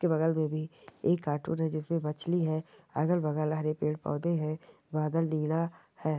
के बगल मे भी एक कार्टून है जिसमे मछली है अगल बगल हरे भरे पेड़ पौधे है बादल नीला है।